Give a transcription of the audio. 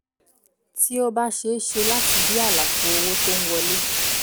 tí ó bá ṣe é ṣe láti di àlàfo owó tó ń wọlé